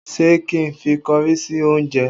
Ṣé kí n fi kọrí sí oúnjẹ?